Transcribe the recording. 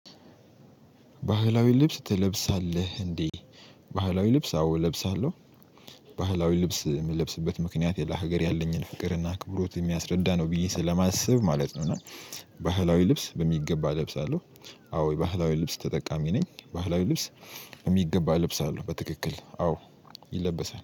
ባህላዊ ልብስ ትለብሳለህ እንዴ? ባህላዊ ልብስ አዎ እለብሳለሁ። ባህላዊ ልብስ የምለብስበት ምክንያት ለሀገር ያለኝን ፍቅር ና አክብሮት የሚያስረዳ ነው ብዬ ስለማስብ ማለት ነው። እና ባህላዊ ልብስ በሚገባ እለብሳለሁ። አዎ የባህላዊ ልብስ ተጠቃሚ ነኝ። ባህላዊ ልብስ- በሚገባ እለብሳለሁ። በትክክል አዎ ይለበሳል።